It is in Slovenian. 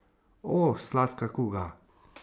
O, sladka kuga!